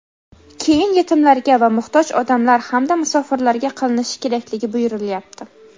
keyin yetimlarga va muhtoj odamlar hamda musofirlarga qilinishi kerakligi buyurilyapti.